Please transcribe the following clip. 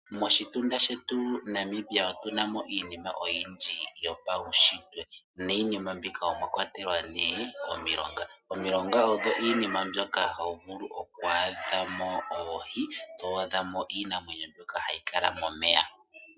Moshitunda shetu Namibia otunamo iinima oyindji yopaushitwe. Miinima mbika omwa kwatelwa ne omilonga. Omilonga odhi iinima mbyoka to vulu oku adhamo oohi, to adhamo iinamwenyo mbyoka hayi kala momeya.